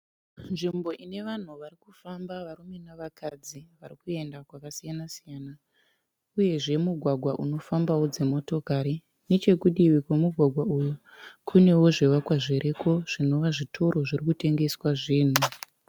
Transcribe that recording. Nzvimbo ine vanhu vari kufamba varume navakadzi varikuenda kwakasiyana siyana uyezve mugwagwa unofambawo dzimotokari. Nechekudivi kwemugwagwa uyu kunewo zvivakwa zviriko zvinova zvitoro zvirikutengeswa zvinhu.